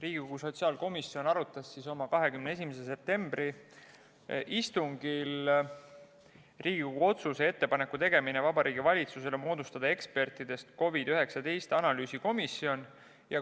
Riigikogu sotsiaalkomisjon arutas oma 21. septembri istungil Riigikogu otsuse "Ettepaneku tegemine Vabariigi Valitsusele moodustada ekspertidest COVID-19 analüüsikomisjon" eelnõu.